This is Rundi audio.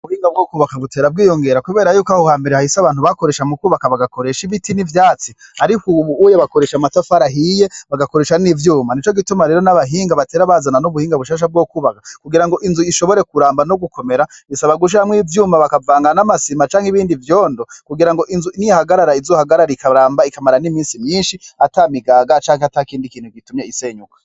Ubuhinga bwo kubaka butera bwiyongera, kubera yuko aho hambere hahise abantu bakoresha mu kwubaka bagakoresha ibiti n'ivyatsi, ariko, ubu uye bakoresha amatafarahiye bagakoresha n'ivyuma ni co gituma rero n'abahinga batera bazana n'ubuhinga bushasha bwo kubaka kugira ngo inzu ishobore kuramba no gukomera bisabagusha hamwo ivyuma bakavangan'amasima canke ibindi vyondo kugira ngo inzu nihagarara izohagararikaa amba ikamara n'imisi myinshi ata migaga cake ata kindi ikintu gitumye isenyuka.